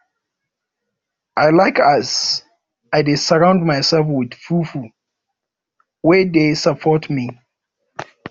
i like as i dey surround mysef wit pipo wey dey support me